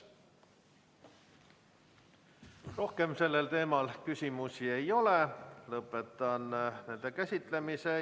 Rohkem sellel teemal küsimusi ei ole, lõpetan selle käsitlemise.